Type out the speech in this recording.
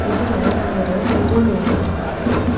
இதுல ஒரு புது ரூம பாக்கலாம்.